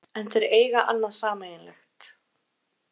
En þeir eiga annað sameiginlegt